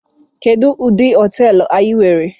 Kedu udi hoteelu anyi were?